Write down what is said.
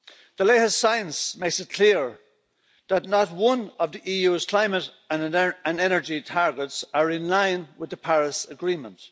The latest science makes it clear that not one of the EU's climate and energy targets are in line with the Paris agreement.